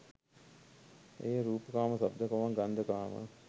එය රූපකාම, ශබ්දකාම, ගන්ධකාම,